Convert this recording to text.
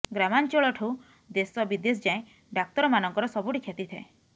ଗ୍ରାମାଞ୍ଚଳଠୁ ଦେଶ ବିଦେଶ ଯାଏ ଡାକ୍ତରମାନଙ୍କର ସବୁଠି ଖ୍ୟାତି ଥାଏ